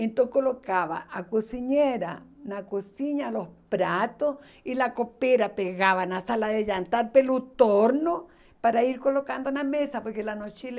Então colocava a cozinheira na cozinha, os pratos, e a copera pegava na sala de jantar pelo torno para ir colocando na mesa, porque lá no Chile